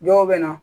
Dɔw bɛ na